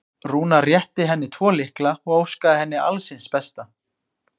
Rúnar rétti henni tvo lykla og óskaði henni alls hins besta.